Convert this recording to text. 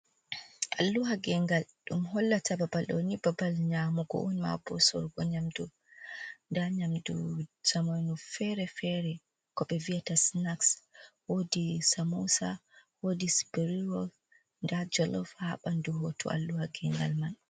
Alluha gengal ɗum hollata babal ɗoni babal nyamugo on, ma bo sorugo nyamdu. Nda nyamdu zamanu fere-fere kobe viata snaxs, wodi samousa, wodi speriwo, da jalov ha ɓandu hoto alluha gengal man.